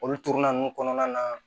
Olu turuna ninnu kɔnɔna na